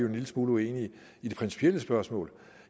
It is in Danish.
en lille smule uenige i de principielle spørgsmål at